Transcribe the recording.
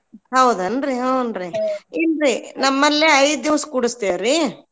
ಹೌದೇನ್ರಿ ಹ್ಞೂನ್ರಿ ಇಲ್ರಿ ನಮ್ಮಲ್ಲಿ ಐದ್ ದಿವ್ಸ್ ಕೂಡುಸ್ತೀವ್ರಿ.